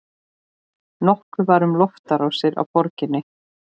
Nokkuð var um loftárásir á borgir.